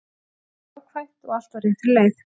Þetta er jákvætt og allt á réttri leið.